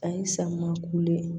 Ani samiya kule